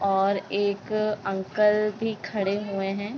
और एक अंकल भी खड़े हुए हैं।